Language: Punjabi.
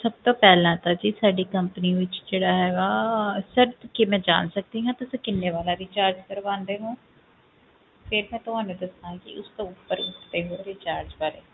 ਸਭ ਤੋਂ ਪਹਿਲਾਂ ਤਾਂ ਜੀ ਸਾਡੀ company ਵਿੱਚ ਜਿਹੜਾ ਹੈਗਾ sir ਕੀ ਮੈਂ ਜਾਣ ਸਕਦੀ ਹਾਂ ਕਿ ਤੁਸੀਂ ਕਿੰਨੇ ਵਾਲਾ recharge ਕਰਵਾਉਂਦੇ ਹੋ ਫਿਰ ਮੈਂ ਤੁਹਾਨੂੰ ਦੱਸਾਂਗੀ ਉਸ ਤੋਂ ਉੱਪਰ ਉੱਤੇ ਹੋਰ recharge ਬਾਰੇ,